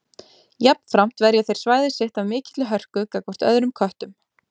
Jafnframt verja þeir svæðið sitt af mikilli hörku gagnvart öðrum köttum.